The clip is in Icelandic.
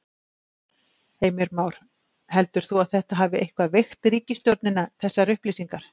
Heimir Már: Heldur þú að þetta hafi eitthvað veikt ríkisstjórnina þessar upplýsingar?